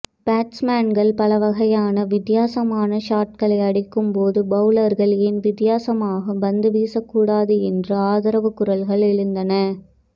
பேட்ஸ்மேன்கள் பல வகையான வித்தியாசமான ஷாட்களை அடிக்கும்போது பவுலர்கள் ஏன் வித்தியாசமாக பந்துவீசக்கூடாது என்று ஆதரவுக் குரல்கள் எழுந்தன